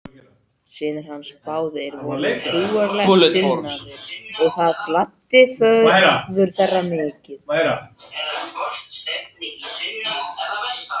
Synir hans báðir voru trúarlega sinnaðir og það gladdi föður þeirra mikið.